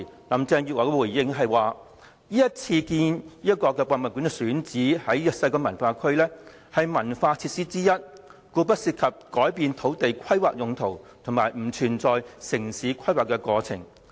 林鄭月娥當時回應指出，故宮館選址西九文化區，屬於一項文化設施，故不涉及改變土地規劃用途及城市規劃程序。